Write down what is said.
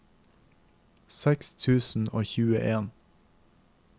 seks tusen og tjueen